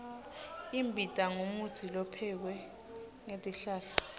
imbita ngumutsi lophekwe ngetihlahla